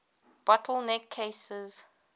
bottle neck cases